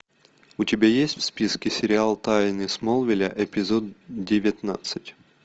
у тебя есть в списке сериал тайны смолвиля эпизод девятнадцать